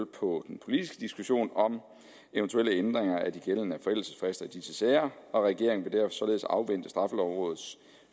på den politiske diskussion om eventuelle ændringer af de gældende forældelsesfrister i disse sager og regeringen vil derfor således afvente straffelovrådets